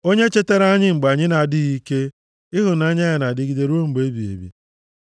Onye chetara anyị mgbe anyị na-adịghị ike, Ịhụnanya ya na-adịgide ruo mgbe ebighị ebi.